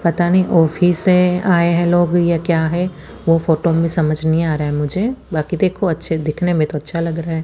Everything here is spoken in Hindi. पता नहीं ऑफिस है या लॉबी है क्या है वो फोटो में समझ नहीं आ रहा है मुझे बाकि देखो दीखने में तो अच्छा लग रहा है।